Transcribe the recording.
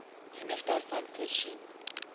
genoeg daarvan voorsien